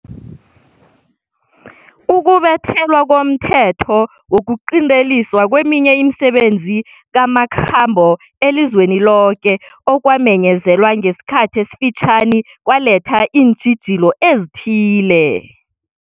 Ukubethwa komthetho wokuqinteliswa kweminye imisebenzi namakhambo elizweni loke okwamenyezelwa ngesikhathi esifitjhani kwaletha iintjhijilo ezithile.